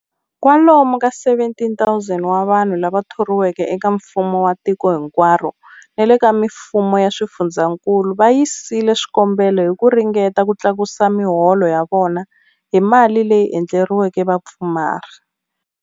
Kwalomu ka 17,000 wa vanhu lava thoriweke eka mfumo wa tiko hinkwaro ni le ka mifumo ya swifundzankulu va yisile swikombelo hi ku ringeta ku tlakusa miholo ya vona hi mali leyi endleriweke vapfumari.